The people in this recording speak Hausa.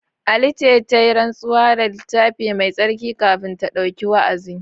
Alice ta yi rantsuwa da Littafi Mai Tsarki kafin ta ɗauki wa’azi.